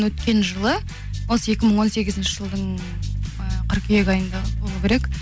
өткен жылы осы екі мың он сегізінші жылдың і қыркүйек айында болуы керек